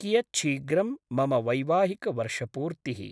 कियच्छीघ्रं मम वैवाहिकवर्षपूर्तिः?